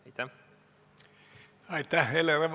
Aitäh!